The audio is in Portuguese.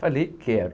Falei, quero.